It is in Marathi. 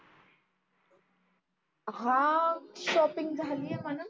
हा शॉपींग झाली आहे म्हणा.